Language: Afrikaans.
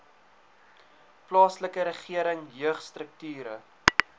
plaaslike regering jeugstrukture